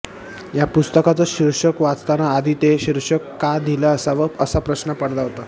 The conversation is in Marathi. या पुस्तकाचं शीर्षक वाचताना आधी ते शीर्षक का दिलं असावं असा प्रश्न पडला होता